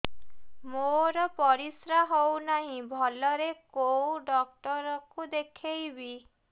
ମୋର ପରିଶ୍ରା ହଉନାହିଁ ଭଲରେ କୋଉ ଡକ୍ଟର କୁ ଦେଖେଇବି